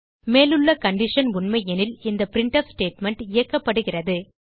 மேலுள்ள கண்டிஷன் உண்மையெனில் இந்த பிரின்ட்ஃப் ஸ்டேட்மெண்ட் இயக்கப்படுகிறது